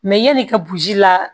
yan'i ka burusi la